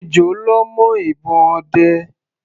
Ejò lọ́ mọ́ ìbọn ọdẹ.